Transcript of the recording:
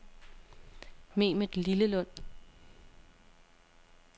Mehmet Lillelund